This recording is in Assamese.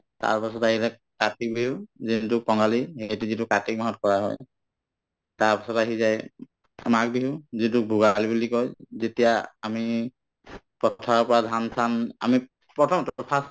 তাৰপাছত আহিলে কাতি বিহু যোনটো কঙালী সেইটো যিটো কাতি মাহত কৰা হয় তাৰপিছত আহি যায় অ মাঘ বিহু যিটো ভোগালী বুলি কই যেতিয়া আমি পথাৰৰ পৰা ধান-চান আমি প্ৰথম first